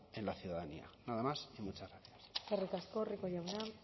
en la ciudadanía nada más y muchas gracias eskerrik asko rico jauna